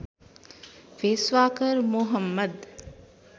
भेष्वाकर Mohammad